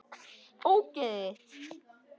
Ógeðið þitt!